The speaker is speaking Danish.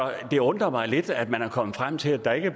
det undrer mig lidt at man er kommet frem til at der ikke er